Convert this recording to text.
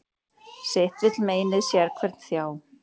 Sitt vill meinið sérhvern þjá.